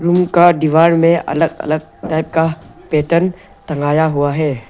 उनका दीवार में अलग अलग टाइप का पैटर्न टंगआया हुआ है।